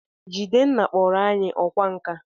Jidenna kpọrọ anyi ọkwá nkà